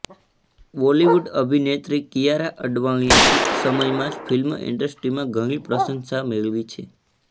બોલિવૂડ અભિનેત્રી કિયારા અડવાણીએ ટૂંક સમયમાં જ ફિલ્મ ઇન્ડસ્ટ્રીમાં ઘણી પ્રશંસા મેળવી છે